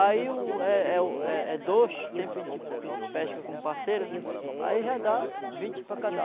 Aí o é é o é é dois, sempre a gente pesca com parceiro né, aí já dá vinte para cada